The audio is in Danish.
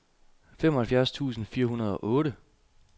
femoghalvfjerds tusind fire hundrede og otte